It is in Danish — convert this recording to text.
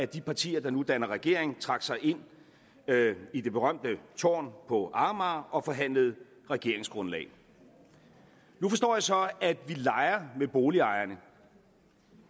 de partier der nu danner regering trak sig ind i det berømte tårn på amager og forhandlede regeringsgrundlag nu forstår jeg så at vi leger med boligejerne